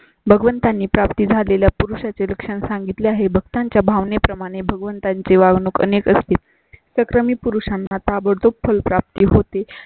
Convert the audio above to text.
भगवंतांनी प्राप्त झालेल्या पुरुषा चे लक्षण सांगितले आहे. भक्ता च्या भावने प्रमाणे भगवंता ची वागणूक अनेक असतील. संक्रमित पुरुषां ना ताबडतोब फुल प्राप्ती होती.